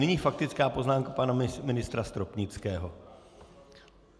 Nyní faktická poznámka pana ministra Stropnického.